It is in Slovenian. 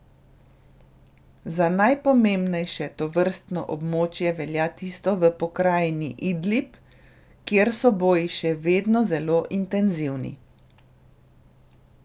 Za najpomembnejše tovrstno območje velja tisto v pokrajini Idlib, kjer so boji še vedno zelo intenzivni.